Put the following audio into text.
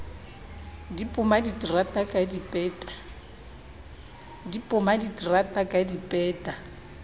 di poma diterata ka dipeta